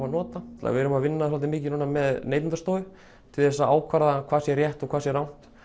að nota við erum að vinna svolítið mikið núna með Neytendastofu til þess að ákvarða hvað sé rétt og hvað sé rangt